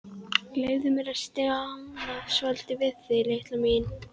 Leyfðu mér að stjana svolítið við þig, litla mín.